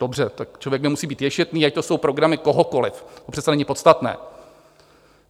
Dobře, tak člověk nemusí být ješitný, ať to jsou programy kohokoliv, to přece není podstatné.